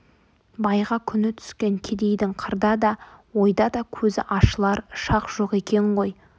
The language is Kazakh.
байға күні түскен кедейдің қырда да ойда да көзі ашылар шақ жоқ екен ғой